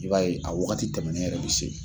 I b'a ye a wagati tɛmɛnen yɛrɛ de se